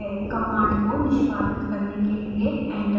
command को निष्पादित करने के लिए enter दबाएँ